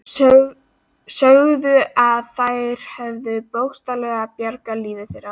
Sögðu að þær hefðu bókstaflega bjargað lífi þeirra.